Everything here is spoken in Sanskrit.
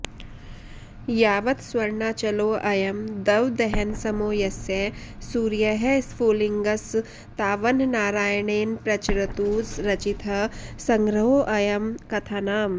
यावत्स्वर्णाचलोऽयं दवदहनसमो यस्य सूर्यः स्फुलिङ्गस् तावन्नारायणेन प्रचरतु रचितः सङ्ग्रहोऽयं कथानाम्